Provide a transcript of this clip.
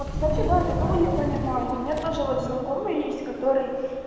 вот кстати да я такого не понимаю у меня тоже вот знакомый есть который